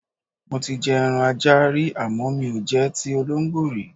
Mo ti je̩ eran ajá rí àmó̩ mi ò je̩ ti olóǹgbó rí.